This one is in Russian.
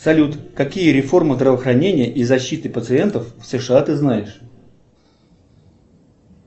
салют какие реформы здравоохранения и защиты пациентов в сша ты знаешь